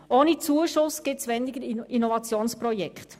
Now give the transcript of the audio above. Ohne Zuschuss gibt es weniger Innovationsprojekte.